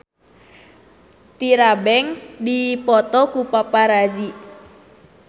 Tyra Banks dipoto ku paparazi